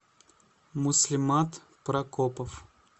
муслимат прокопов